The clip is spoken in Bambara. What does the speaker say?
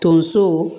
Tonso